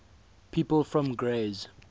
people from grays